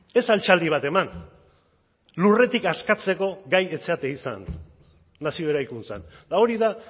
ez altxaldi bat eman lurretik askatzeko gai ez zarete izan nazio eraikuntzan eta hori da